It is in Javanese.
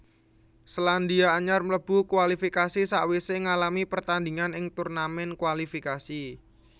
Selandia Anyar mlebu kualifikasi sawisé ngalami pertandingan ing turnamen kualifikasi